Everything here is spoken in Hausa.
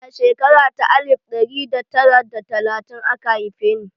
A shekara ta alif ɗari da tara da talatin aka haife ni